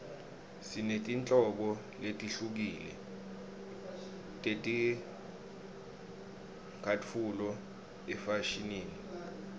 sinetinhlobo letihlukile teticatfulo efashinini